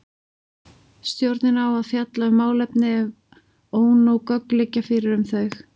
Stjórnin á að fjalla um málefni ef ónóg gögn liggja fyrir um þau.